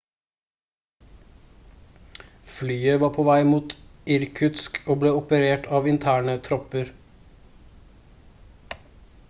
flyet var på vei mot irkutsk og ble operert av interne tropper